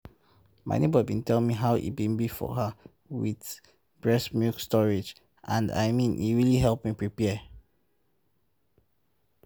my neighbor been tell me about how e been be for her with breast milk storage and i mean e really help me prepare